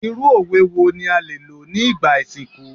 Irú òwe wo ni a lè lò ní ìgbà ìsìnkú?